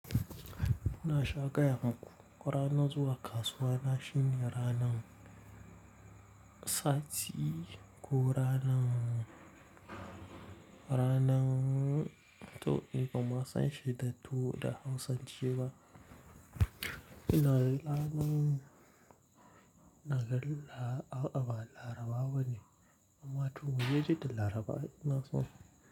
Na sha gaya hankun rana zuwa kasuwa, na shine ranan sati ko ranan, ranan to ni kuma ban san shaidatu da Hausance ba. Ina lanan na gan la a'a ba Larabawa ne amma to mu je ji da Larabawa ina so.